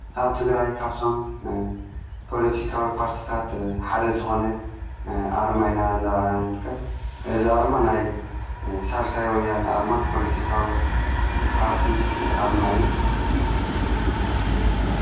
ኣብቲ ግራይ ካብቶም ጶሎቲካዊ ጳርትታት ሓደ ዝኾነ ኣርማይና እነራናንርከብ እዝ ኣርማ ናይ ሣልሳይ ወያን ኣርማ ጶልቲካዊ ጳርቲ ኣርማ እዩ።